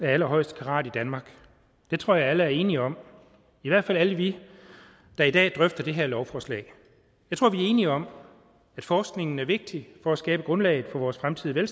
af allerhøjeste karat i danmark det tror jeg alle er enige om i hvert fald alle vi der i dag drøfter det her lovforslag jeg tror vi er enige om at forskningen er vigtig for at skabe grundlaget for vores fremtidige